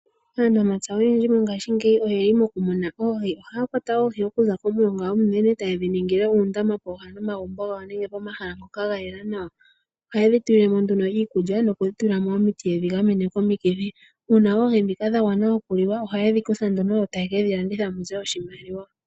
Aanamapya oyendji mongaashingeyi oyeli mokumuna oohi, ohaya kwata oohi okuza komilonga ominene taye dhi ningile uundama pooha nomagumbo gawo nenge komahala ngoka ga yela nawa. Ohaye dhi tulilemo nduno iikulya nokutula mo omiti ye dhi gamene komikithi, uuna oohi dhino dha gwana okuliwa ohaye dhi kutha nduno mu ze oshimaliwa.